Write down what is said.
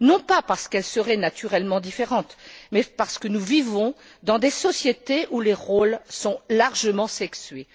Non pas parce qu'elles seraient naturellement différentes mais parce que nous vivons dans des sociétés où les rôles sont largement sexués.